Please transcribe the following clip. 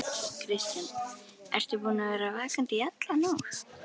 Kristján: Ertu búinn að vera vakandi í alla nótt?